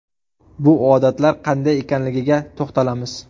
Bu odatlar qanday ekanligiga to‘xtalamiz.